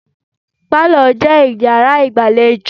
Pálọ̀ je Ìyàrá ìgbàlejò.